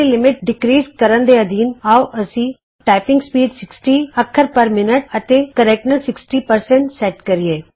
level ਦੀ limit ਘੱਟਾਉਣ ਦੇ ਅਧੀਨ ਆਉ ਅਸੀਂ160 ਟਾਈਪਿੰਗ ਸਪੀਡ 60 ਅੱਖਰ ਪਰ ਮਿੰਟ ਅਤੇ ਸ਼ੁੱਧਤਾ 60 ਸੈਟ ਕਰੀਏ